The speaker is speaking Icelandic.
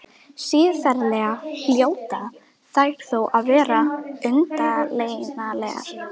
Siðferðilega hljóta þær þó að vera umdeilanlegar.